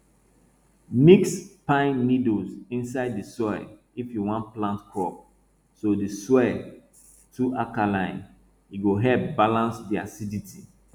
mix pine needle inside di soil if you wan plant crops if di soil too alkaline e go help balance di acidity